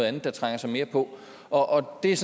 andet der trænger sig mere på og det er